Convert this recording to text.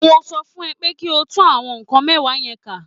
Mo sọ fún ẹ pé kí o tún àwọn nǹkan mẹ́wàá yẹn ká